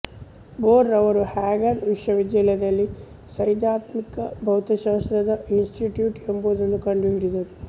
bore ರವರು ಹ್ಯಾಗನ್ ವಿಶ್ವವಿದ್ಯಾಲಯದಲ್ಲಿ ಸೈದ್ಧಾಂತಿಕ ಭೌತಶಾಸ್ತ್ರದ ಇನ್ಸ್ಟಿಟ್ಯೂಟ್ ಎಂಬುದನ್ನು ಕಂಡು ಹಿಡಿದರು